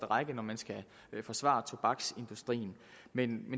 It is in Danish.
række når man skal forsvare tobaksindustrien men